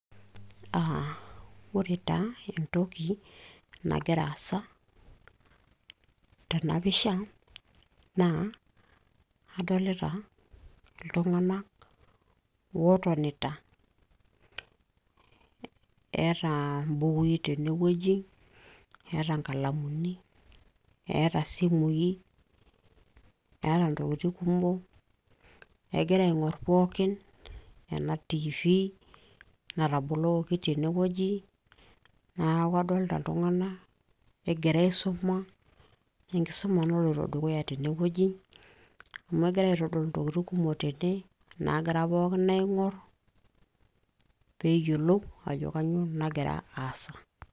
aa ore taa entoki nagira aasa tenapisha naa adolita iltung'anak ootonita eeta imbukui tene wueji eeta inkalamuni eeta isimui eeta ntokitin kumok egira aing'orr pookin ena tv natabolokoki tene wueji naaku kadolita iltung'anak egira aisuma enkisuma naloito dukuya tenewueji amu egiray aitodolu intokitin kumok tene naagira pookin aing'orr peeyiolou ajo kanyioo nagira aasa.